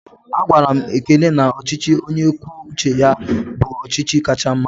A gwaram Ekene na ọchịchị onye kwuo uche ya bụ ọchịchị kacha mma